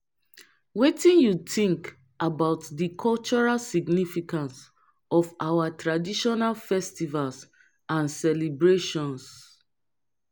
wetin you think about di cultural significance of our traditional festivals and celebrations.